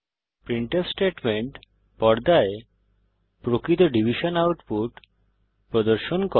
printf statement পর্দায় প্রকৃত division output প্রদর্শন করে